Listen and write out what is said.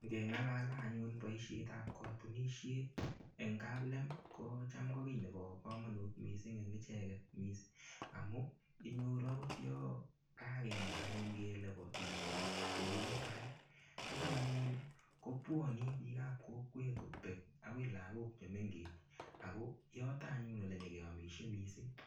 Ngengalale anyun boishet ap kotunishet eng kaplem ko cham ko kiy nebo komonut mising eng icheket amu inyoru akot yo kakemwa anyun kele bo tumdo kou mutai ko cham anyun kobuoni bikap kokwet kobek akoi lakok che mengech ako yoto anyun ole nyekeomishei mising.